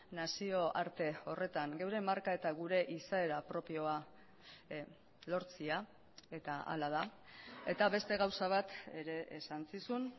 nazioarte horretan geure marka eta gure izaera propioa lortzea eta hala da eta beste gauza bat ere esan zizun